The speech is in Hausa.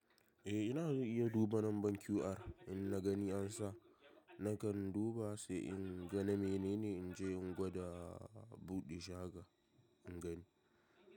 Eh ina iya duba nan ban QR in na gani an sa nakan duba sai in ga na menene in je in gwada buɗe shago in gani.